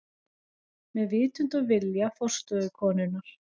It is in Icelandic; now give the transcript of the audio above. Með vitund og vilja forstöðukonunnar.